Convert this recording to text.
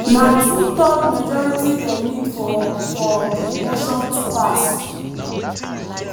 na two-thirds majority dem need for for di motion to pass.